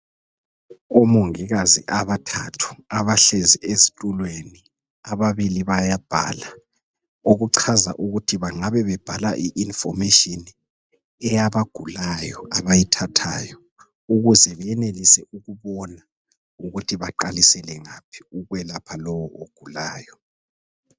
Omongikazi abathathu abahlezi ezitulweni. Ababili bayabhala, okuchaza ukuthi bangabe bebhala i"information" eyabagulayo abayithathayo ukuze beyenelise ukubona ukuthi baqalisele ngaphi ukwelapha lo ogulayo.